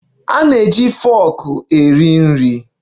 A na-eji foku eri nri.